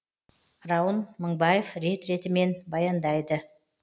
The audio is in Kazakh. раун мыңбаев рет ретімен баяндайды